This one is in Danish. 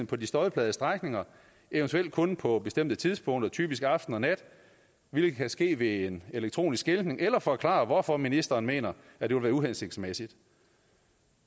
på de støjplagede strækninger eventuelt kun på bestemte tidspunkter typisk aften og nat hvilket kan ske ved elektronisk skiltning eller forklare hvorfor ministeren mener at det vil være uhensigtsmæssigt